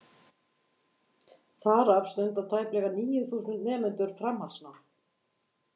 Þar af stunda tæplega níu þúsund nemendur framhaldsnám.